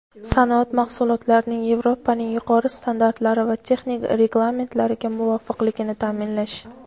sanoat mahsulotlarining Yevropaning yuqori standartlari va texnik reglamentlariga muvofiqligini ta’minlash;.